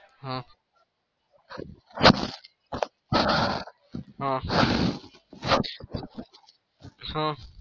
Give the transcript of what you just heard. હ હ હ